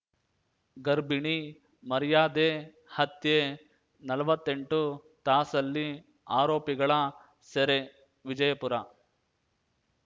ಗರ್ಭಿಣಿ ಮರ್ಯಾದೆ ಹತ್ಯೆ ನಲ್ವತ್ತೆಂಟು ತಾಸಲ್ಲಿ ಆರೋಪಿಗಳ ಸೆರೆ ವಿಜಯಪುರ